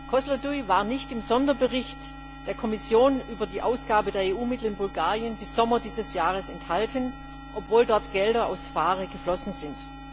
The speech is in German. Kosloduj war im Sonderbericht der Kommission über die Ausgabe der EU Mittel in Bulgarien bis Sommer dieses Jahres nicht enthalten, obwohl dort Gelder aus PHARE eingeflossen sind.